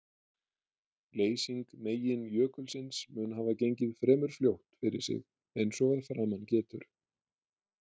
Leysing meginjökulsins mun hafa gengið fremur fljótt fyrir sig eins og að framan getur.